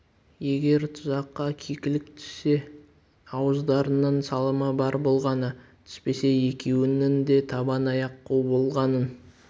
егер тұзаққа кекілік түссе ауыздарыңның салымы бар болғаны түспесе екеуіңнің де табан аяқ қу болғаның